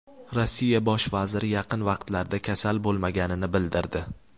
Rossiya bosh vaziri yaqin vaqtlarda kasal bo‘lmaganini bildirdi.